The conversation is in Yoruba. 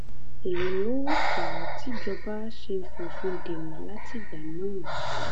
èyí ló fà á tìjọba ṣe fòfin dè wọn látìgbà náà